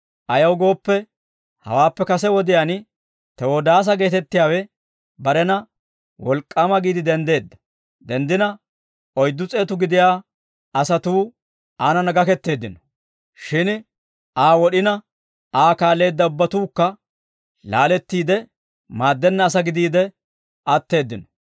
Ayaw gooppe, hawaappe kase wodiyaan Tewodaasa geettettiyaawe barena wolk'k'aama giide denddeedda; denddina oyddu s'eetu gidiyaa asatuu aanana gaketteeddino; shin Aa wod'ina, Aa kaalleedda ubbatuukka laalettiide, maaddenna asaa gidiide atteeddino.